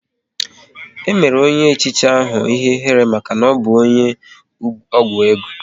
E mere onye echichi ahụ ihe ihere maka na ọbụ onye ọgwụ ego